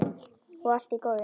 Og allt í góðu.